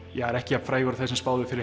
er ekki jafn frægur og þeir sem spáðu fyrir